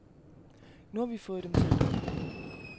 Nu har vi fået dem talt op.